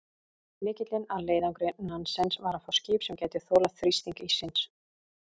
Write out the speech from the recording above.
Lykillinn að leiðangri Nansens var að fá skip sem gæti þolað þrýsting íssins.